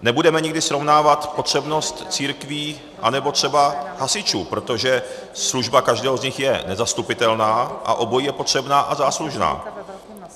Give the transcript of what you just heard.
Nebudeme nikdy srovnávat potřebnost církví anebo třeba hasičů, protože služba každého z nich je nezastupitelná a obojí je potřebné a záslužné.